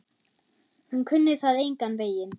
Hún kunni það engan veginn.